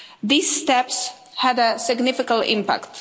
These steps had a significant impact.